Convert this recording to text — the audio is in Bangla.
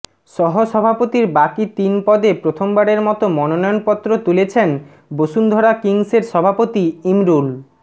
সহসভাপতির বাকি তিন পদে প্রথমবারের মতো মনোনয়নপত্র তুলেছেন বসুন্ধরা কিংসের সভাপতি ইমরুল